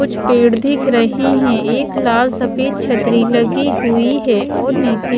कुछ पेड़ दिख रहे हैं एक लाल सफेद छतरी लगी हुई है और नीचे--